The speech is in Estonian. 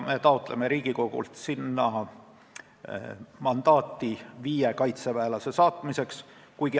Me taotleme Riigikogult mandaati viie kaitseväelase sinna saatmiseks.